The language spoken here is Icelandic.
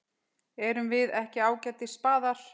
Erum við ekki ágætis spaðar?